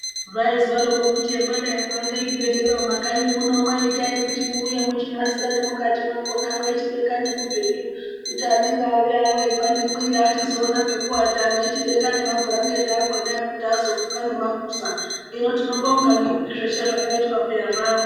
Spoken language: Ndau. Zvaizwaroko kuti emwadai kuake zvibhedhleya mumakanyi muno itai kuti muuye muchinasire nemukati mwakona mweichibeka nemibhedhu kuti anenge auya ano eipande mwiri achizoone pekuata mweichibeka nemabhurangeti akona ekuti azofuka nemaguza, hino tinobonga ngekuti zveshe zvakaitwa peya zvaamwo.